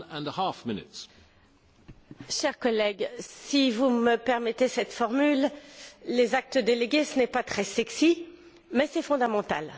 Monsieur le Président, chers collègues, si vous me permettez cette formule, les actes délégués ce n'est pas très sexy mais c'est fondamental.